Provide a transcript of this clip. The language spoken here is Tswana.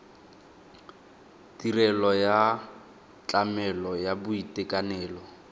tirelo ya tlamelo ya boitekanelo